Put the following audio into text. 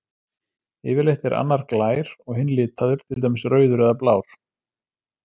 Yfirleitt er annar glær og hinn litaður, til dæmis rauður eða blár.